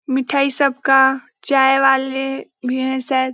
मिठाई सबका चाय वाले भी हैं शायद--